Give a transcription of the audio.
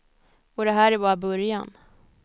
Och det här är bara början.